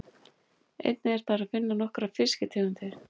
Einnig er þar að finna nokkrar fiskitegundir.